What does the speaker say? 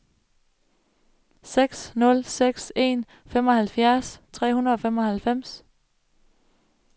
seks nul seks en femoghalvfjerds tre hundrede og femoghalvfems